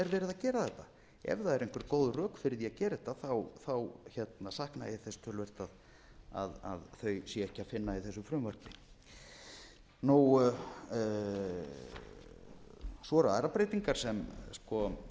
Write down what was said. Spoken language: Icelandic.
gera þetta ef það eru einhver góð rök fyrir því að gera þetta sakna ég þess töluvert að þau sé ekki að finna í þessu frumvarpi svo eru aðrar breytingar